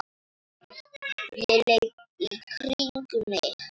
Ég leit í kringum mig.